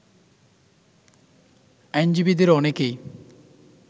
আইনজীবীদের অনেকেই